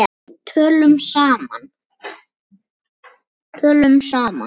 Tölum saman.